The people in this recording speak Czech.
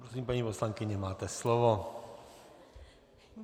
Prosím, paní poslankyně, máte slovo.